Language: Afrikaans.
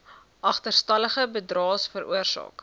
agterstallige bydraes veroorsaak